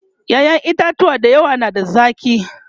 ƴaƴan itatuwa da yawa na da zaki